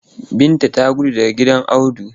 Binta ta gudu daga gidan Audu.